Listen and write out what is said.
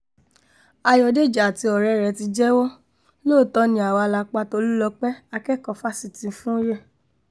ayọ̀dèjì àti ọ̀rẹ́ ẹ̀ ti jẹ́wọ́ lóòótọ́ ni àwa la pa tolúlọ́pẹ́ akẹ́kọ̀ọ́ fásitì fúoye